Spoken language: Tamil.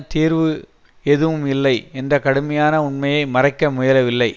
தீர்வு எதுவும் இல்லை என்ற கடுமையான உண்மையை மறைக்க முயலவில்லை